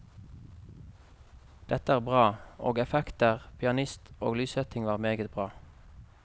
Dette er bra, og effekter, pianist og lyssetting var meget bra.